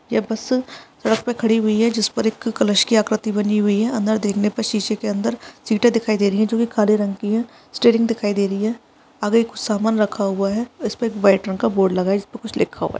ये बस सड़क पे खड़ी हुई है जिस पर एक कलश की आकृति बनी हुई है अंदर देखने पर शीशे के अंदर सीटे दिखाई दे रही है जो की काले रंग की है स्टेरिंग दिखाई दे रही है आगे कुछ सामान रखा हुआ है इसपे एक वाइट रंग का बोर्ड लगा है जिसपे कुछ लिखा हुआ है।